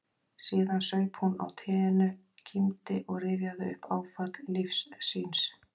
Síðan saup hún á teinu, kímdi og rifjaði upp áfall lífs síns